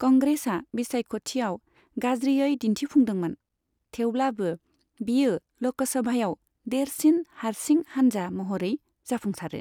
कंग्रेसआ बिसायख'थियाव गाज्रियै दिन्थिफुंदोंमोन, थेवब्लाबो बेयो ल'कसभायाव देरसिन हारसिं हान्जा महरै जाफुंसारो।